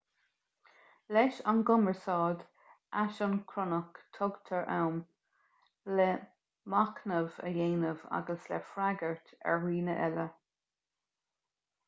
leis an gcumarsáid aisioncronach tugtar am le machnamh a dhéanamh agus le freagairt ar dhaoine eile